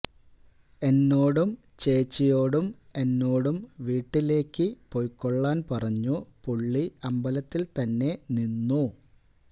എന്നോടും ചേച്ചിയ്ക്കോടും എന്നോടും വീട്ടിലേക്ക് പൊയ്ക്കൊള്ളാൻ പറഞ്ഞു പുള്ളി അമ്പലത്തിൽ തന്നെ നിന്നു